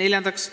Neljandaks: